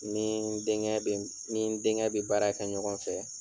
Ni n denkɛ bɛ ni n denkɛ baara kɛ ɲɔgɔn fɛ.